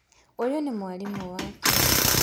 ũyũ nĩ mwarimũ wakwa